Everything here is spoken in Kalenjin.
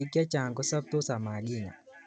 Bik chechang kosaptos amakinya